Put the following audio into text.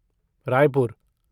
Raipur